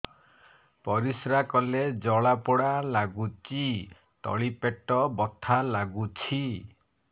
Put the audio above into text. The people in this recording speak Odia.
ପରିଶ୍ରା କଲେ ଜଳା ପୋଡା ଲାଗୁଚି ତଳି ପେଟ ବଥା ଲାଗୁଛି